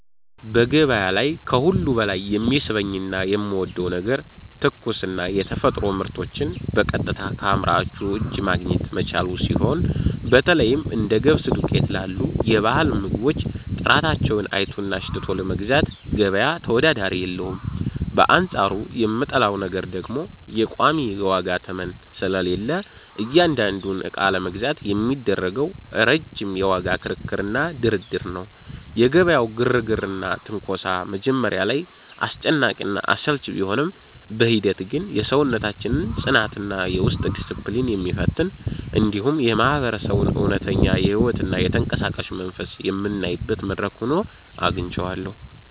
በገበያ ላይ ከሁሉ በላይ የሚስበኝና የምወደው ነገር ትኩስና የተፈጥሮ ምርቶችን በቀጥታ ከአምራቹ እጅ ማግኘት መቻሉ ሲሆን፣ በተለይም እንደ ገብስ ዱቄት ላሉ የባህል ምግቦች ጥራታቸውን አይቶና አሽትቶ ለመግዛት ገበያ ተወዳዳሪ የለውም፤ በአንጻሩ የምጠላው ነገር ደግሞ ቋሚ የዋጋ ተመን ስለሌለ እያንዳንዱን ዕቃ ለመግዛት የሚደረገው ረጅም የዋጋ ክርክርና ድርድር ነው። የገበያው ግርግርና ትንኮሳ መጀመሪያ ላይ አስጨናቂና አሰልቺ ቢሆንም፣ በሂደት ግን የሰውነታችንን ጽናትና የውስጥ ዲስፕሊን የሚፈትን፣ እንዲሁም የማህበረሰቡን እውነተኛ ሕይወትና የተንቀሳቃሽነት መንፈስ የምናይበት መድረክ ሆኖ አግኝቼዋለሁ።